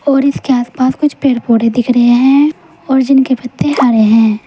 और इसके आसपास कुछ पेड़ पौधे दिख रहे हैं और जिनके पत्ते हरे हैं।